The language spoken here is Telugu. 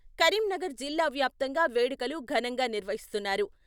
కరీంనగర్ జిల్లా వ్యాప్తంగా వేడుకలు ఘనంగా నిర్వహిస్తున్నారు.